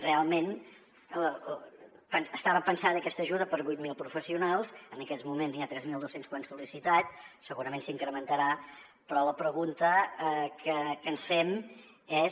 realment estava pensada aquesta ajuda per a vuit mil professionals en aquests moments n’hi ha tres mil dos cents que ho han sol·licitat segurament s’incrementarà però la pregunta que ens fem és